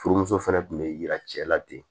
Furumuso fɛnɛ tun bɛ yira cɛla de